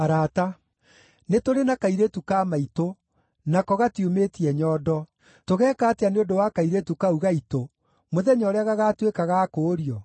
Nĩtũrĩ na kairĩtu ka maitũ, nako gatiumĩtie nyondo. Tũgeka atĩa nĩ ũndũ wa kairĩtu kau gaitũ, mũthenya ũrĩa gagaatuĩka ga kũũrio?